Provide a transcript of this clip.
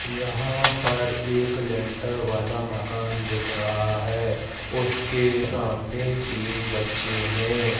यहां पर एक लेंटर वाला मकान दिखाई दे रहा है उसके सामने तीन बच्चे हैं।